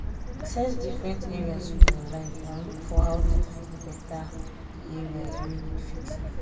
access different areas for your life and look for how to fit better di areas wey need fixing